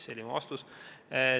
See oli mu vastus.